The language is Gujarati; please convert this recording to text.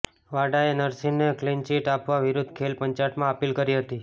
વાડાએ નરસિંહને ક્લિનચીટ આપવા વિરૂદ્ધ ખેલ પંચાટમાં અપીલ કરી હતી